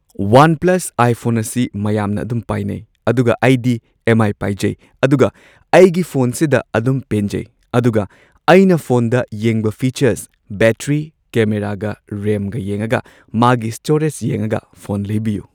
One plus iPhone ꯑꯁꯤ ꯃꯌꯥꯝꯅ ꯑꯗꯨꯝ ꯄꯥꯏꯅꯩ꯫ ꯑꯗꯨꯒ ꯑꯩꯗꯤ ꯑꯦꯝ ꯑꯥꯏ ꯄꯥꯏꯖꯩ ꯑꯗꯨꯒ ꯑꯩꯒꯤ ꯐꯣꯟꯁꯤꯗ ꯑꯗꯨꯝ ꯄꯦꯟꯖꯩ ꯑꯗꯨꯒ ꯑꯩꯅ ꯐꯣꯟꯗ ꯌꯦꯡꯕ ꯐꯤꯆꯔꯁ ꯕꯦꯇ꯭ꯔꯤ ꯀꯦꯃꯦꯔꯥꯒ ꯔꯦꯝꯒ ꯌꯦꯡꯉꯒ ꯃꯥꯒꯤ ꯁ꯭ꯇꯣꯔꯦꯖ ꯌꯦꯡꯉꯒ ꯐꯣꯟ ꯂꯩꯕꯤꯌꯨ꯫